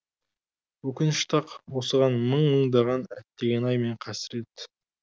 өкінішті ақ осыған мың мыңдаған әттеген ай мен қасірет